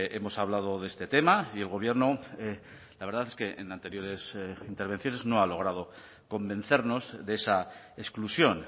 hemos hablado de este tema y el gobierno la verdad es que en anteriores intervenciones no ha logrado convencernos de esa exclusión